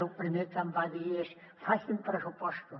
lo primer que em va dir és facin pressupostos